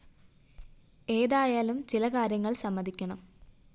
ഏതായാലും ചില കാര്യങ്ങള്‍ സമ്മതിക്കണം